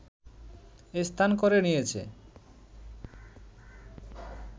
স্থান করে নিয়েছে